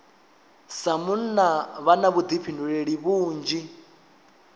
sa munna vha na vhuḓifhinduleli vhunzhi